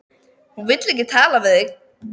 Hún vill ekki tala við þig!